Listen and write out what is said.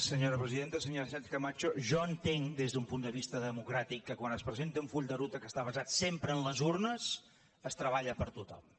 senyora sánchez camacho jo entenc des d’un punt de vista democràtic que quan es presenta un full de ruta que està basat sempre en les urnes es treballa per a tothom